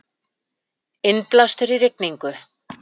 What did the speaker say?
Innblástur í rigningu